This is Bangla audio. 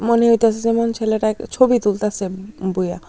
মনে হইতাসে যেমন ছেলেটা এক ছবি তুলতাসে বইয়া।